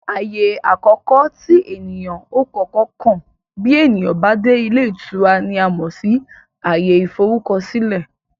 Ààyè àkọ́kọ́ tí èniyàn ó kọ́kọ́ kàn bí ènìyàn bá dé ilé ìtura ni a mọ̀ sí ààyè ìforúkọsílẹ̀